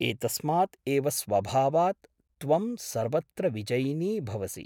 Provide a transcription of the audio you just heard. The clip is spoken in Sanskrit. एतस्मात् एव स्वभावात् त्वं सर्वत्र विजयिनी भवसि ।